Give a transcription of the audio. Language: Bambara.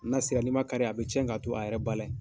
N'a sera n'i man kari a bɛ tiɲɛ ka to a yɛrɛ ba la ye.